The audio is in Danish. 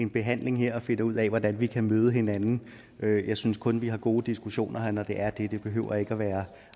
en behandling her og finder ud af hvordan vi kan møde hinanden jeg synes kun vi har gode diskussioner her når det er og det hele behøver ikke at være